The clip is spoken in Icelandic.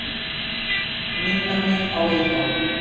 Minna mig á Vilhjálm.